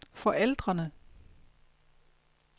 forældrene